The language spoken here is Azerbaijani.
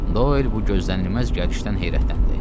Doel bu gözlənilməz gəlişdən heyrətləndi.